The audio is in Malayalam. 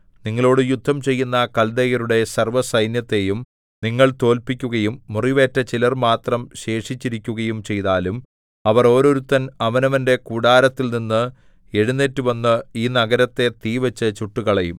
നിങ്ങളോടു യുദ്ധം ചെയ്യുന്ന കല്ദയരുടെ സർവ്വസൈന്യത്തെയും നിങ്ങൾ തോല്പിക്കുകയും മുറിവേറ്റ ചിലർ മാത്രം ശേഷിച്ചിരിക്കുകയും ചെയ്താലും അവർ ഓരോരുത്തൻ അവനവന്റെ കൂടാരത്തിൽനിന്ന് എഴുന്നേറ്റുവന്ന് ഈ നഗരത്തെ തീവച്ച് ചുട്ടുകളയും